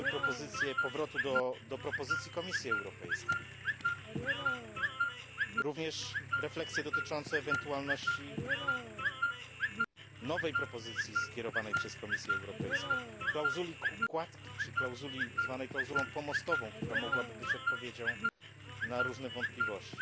Padały propozycje powrotu do propozycji Komisji Europejskiej, również refleksje dotyczące ewentualności nowej propozycji skierowanej przez Komisję Europejską, klauzuli kładki czy klauzuli zwanej pomostową, która mogłaby być odpowiedzią na różne wątpliwości.